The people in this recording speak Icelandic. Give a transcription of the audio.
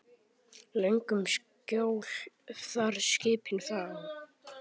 Löngum skjól þar skipin fá.